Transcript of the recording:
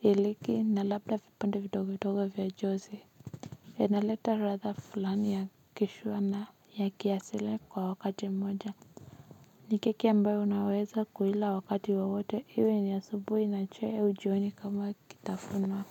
iliki na labda vipande vidongo vidongo vya josi. Inaleta ladha fulani ya kishua na ya kiasili kwa wakati mmoja. Ni keki ambayo unaweza kuila wakati wowote iwe ni asubuhi na chai au jioni kama kitafuno.